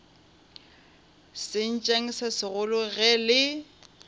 sentšeng se segolo ge le